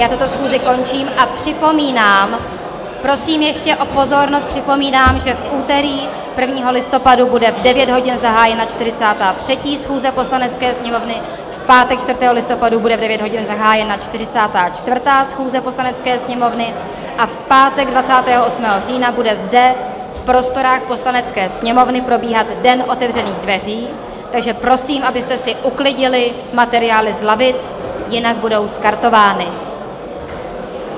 Já tuto schůzi končím a připomínám - prosím ještě o pozornost - připomínám, že v úterý 1. listopadu bude v 9 hodin zahájena 43. schůze Poslanecké sněmovny, v pátek 4. listopadu bude v 9 hodin zahájena 44. schůze Poslanecké sněmovny a v pátek 28. října bude zde v prostorách Poslanecké sněmovny probíhat Den otevřených dveří, takže prosím, abyste si uklidili materiály z lavic, jinak budou skartovány.